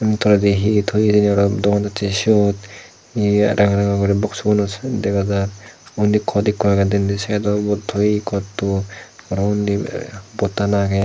ini toledi hi hi toye hijeni araw dogan dacche sot hi ranga ranga guri boksu gunot sot dega jar undi cot ekko age denendi sidot ubot toye cotto araw undi pottan agey.